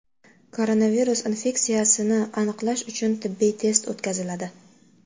Koronavirus infeksiyasini aniqlash uchun tibbiy test o‘tkaziladi.